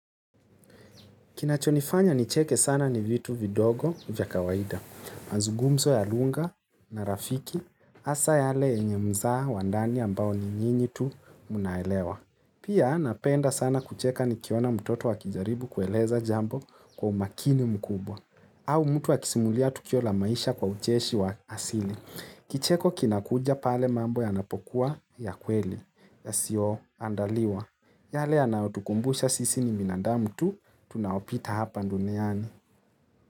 Kinachonifanya nicheke sana ni vitu vidogo vya kawaida. Mazungumzo ya lugha na rafiki, hasa yale yenye mzaa wandani ambao ni nyinyi tu mnaelewa. Pia napenda sana kucheka ni kiona mtoto akijaribu kueleza jambo kwa umakini mkubwa. Au mtu akisimulia tukio la maisha kwa ucheshi wa asili. Kicheko kinakuja pale mambo yanapokuwa ya kweli, ya sio andaliwa. Yale anaotukumbusha sisi ni binadamu tu, tunaopita hapa duniani.